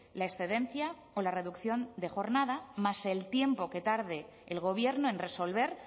la excedencia o la reducción de jornada más el tiempo que tarde el gobierno en resolver